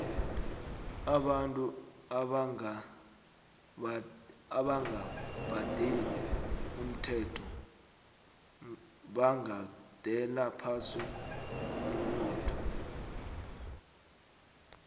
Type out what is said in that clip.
abantu abanga badeli umthelo bagandela phasi umnotho